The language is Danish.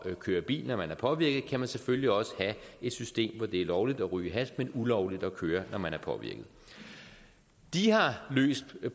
at køre bil når man er påvirket kan man selvfølgelig også have et system hvor det er lovligt at ryge hash men ulovligt at køre når man er påvirket de har løst